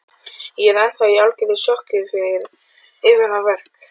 Ég er ennþá í algjöru sjokki yfir að verk